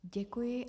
Děkuji.